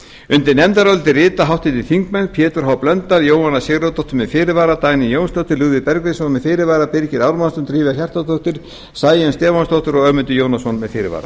undir nefndarálitið rita háttvirtir þingmenn pétur h blöndal jóhanna sigurðardóttir með fyrirvara dagný jónsdóttir lúðvík bergvinsson með fyrirvara birgir ármannsson drífa hjartardóttir sæunn stefánsdóttir og ögmundur jónasson með fyrirvara